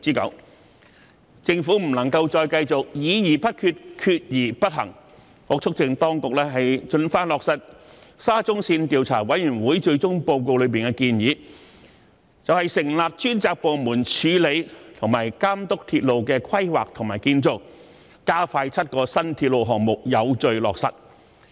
我促請當局盡快落實沙田至中環線項目紅磡站擴建部分及其鄰近的建造工程調查委員會最終報告內的建議，成立專責部門處理和監督鐵路的規劃和建造，加快7個新鐵路項目的有序落實。